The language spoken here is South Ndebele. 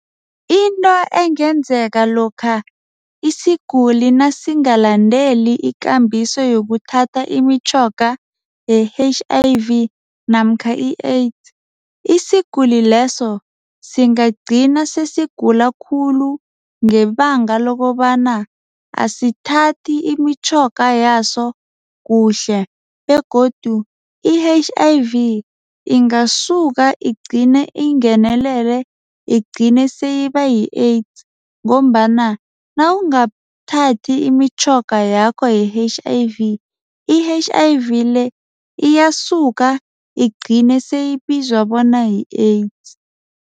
Into engenzeka lokha isiguli nasingalandeli ikambiso yokuthatha imitjhoga ye-H_I_V namkha i-AIDS. Isiguli leso singagcina sesigula khulu. Ngebanga lokobana asithathi imitjhoga yaso kuhle begodu i-H_I_V ingasuka igcine ingenelele igcine seyiba yi-AIDS. Ngombana nawungathathi imitjhoga yakho ye-H_I_V, i-H_I_V le iyasuka igcine siyibizwa bona yi-AIDS.